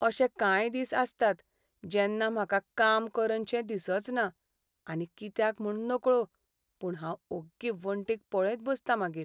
अशे कांय दिस आसतात जेन्ना म्हाका काम करनशें दिसचना आनी कित्याक म्हूण नकळो पूण हांव ओग्गी वणटींक पळयत बसतां मागीर.